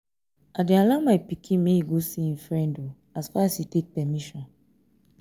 i dey allow my pikin make e go see im friend as far as e take permission